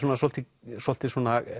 svolítið svolítið